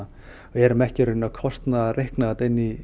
erum ekki í rauninni að kostnaðarreikna þetta inn í